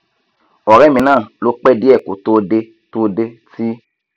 ọrẹ mi náà ló pẹ díẹ kó tó dé tó dé ti